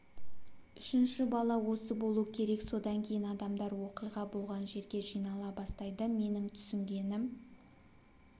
үшінші бала осы болу керек содан кейін адамдар оқиға болған жерге жинала бастайды менің түсінгенім